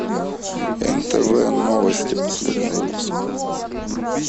нтв новости последний выпуск